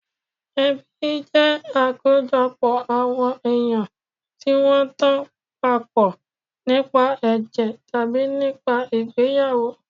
Ẹbí jẹ́ àkójọpọ̀ àwọn èèyàn tí wọ́n tan papọ̀ nípa ẹ̀jẹ̀ tàbí nípa ìgbéyàwó